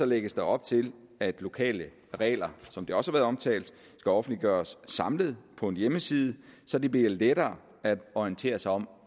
lægges der op til at lokale regler som det også omtalt skal offentliggøres samlet på en hjemmeside så det bliver lettere at orientere sig om